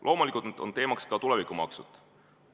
Loomulikult on teemaks ka tulevikumaksud.